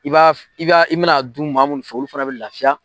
I b'a i b'a i bɛna dun maa minnu fɛ olu fana bɛ lafiya.